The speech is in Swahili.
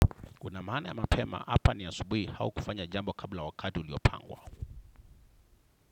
Kuna maana ya mapema hapa ni ya asubuhi au kufanya jambo kabla ya wakati uliopangwa.